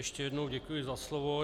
Ještě jednou děkuji za slovo.